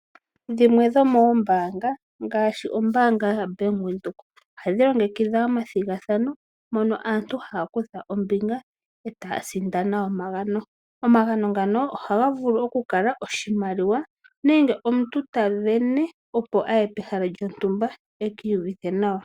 Dhimwe dhomoombaanga ngaashi ombaanga yaBank Windhoek, ohadhi longekidha omathigathano, mono aantu haya kutha ombinga, e taya sindana omagano. Omagano ngano ohaga vulu oku kala oshimaliwa nenge omuntu ta sindana, opo a ye pehala lyontumba eki iyuvithe nawa.